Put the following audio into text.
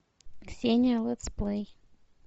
ксения летсплей